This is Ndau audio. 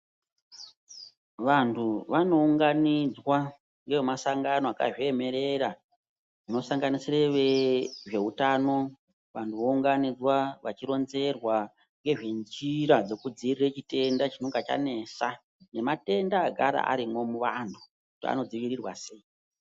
Vantu vanounganidzwa ngemasangano akazviemerera anosanganisira vezveutano. Vanhu vanounganidzwa vachironzerwa ngezve njira dzekudziirira chitenda chinonga chanesa nematenda agara arimwo muvanhu kuti anodzivirirwa sei.